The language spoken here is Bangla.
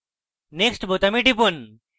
next বোতামে টিপুন